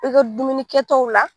I ka dumuni kɛtaw la